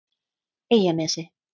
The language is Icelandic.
Eyjanesi